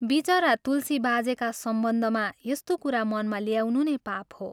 विचरा तुलसी बाजेका सम्बन्धमा यस्तो कुरा मनमा ल्याउनु नै पाप हो।